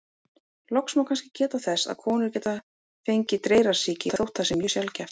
Loks má kannski geta þess að konur geta fengið dreyrasýki, þótt það sé mjög sjaldgæft.